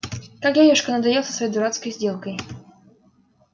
как дядюшка надоел со своей дурацкой сделкой